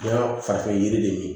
Nka farafin yiri de ye